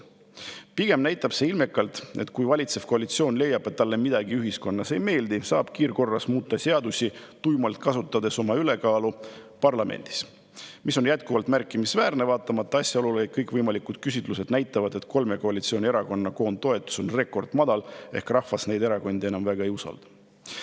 Pigem näitab see ilmekalt, et kui valitsev koalitsioon leiab, et talle midagi ühiskonnas ei meeldi, siis saab seadusi kiirkorras muuta, kasutades tuimalt oma ülekaalu parlamendis, mis on jätkuvalt märkimisväärne, vaatamata asjaolule, et kõikvõimalikud küsitlused näitavad, et kolme koalitsioonierakonna koondtoetus on rekordmadal ehk rahvas neid erakondi enam väga ei usalda.